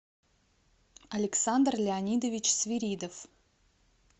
александр леонидович свиридов